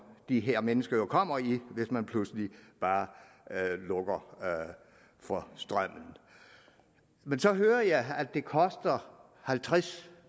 de her mennesker kommer i hvis man pludselig bare lukker for strømmen man så hører jeg at det koster halvtreds